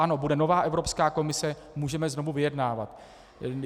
Ano, bude nová Evropská komise, můžeme znovu vyjednávat.